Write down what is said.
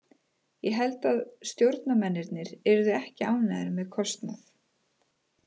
Ég held að stjórnarmennirnir yrðu ekki ánægðir með kostnað.